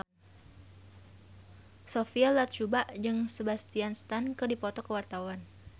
Sophia Latjuba jeung Sebastian Stan keur dipoto ku wartawan